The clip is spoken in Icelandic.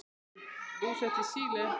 Þau eru búsett í Síle.